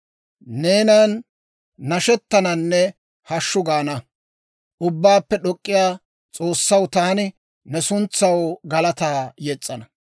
Neenan nashettananne hashshu gaana. Ubbaappe D'ok'k'iyaa S'oossaw, taani ne suntsaw galataa yes's'ana.